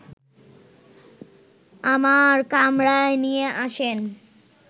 আমার কামরায় নিয়ে আসেন